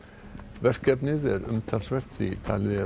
verkefnið er umtalsvert því talið er